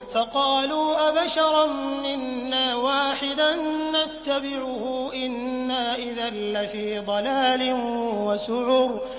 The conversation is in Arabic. فَقَالُوا أَبَشَرًا مِّنَّا وَاحِدًا نَّتَّبِعُهُ إِنَّا إِذًا لَّفِي ضَلَالٍ وَسُعُرٍ